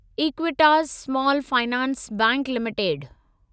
Equitas small finance bank limited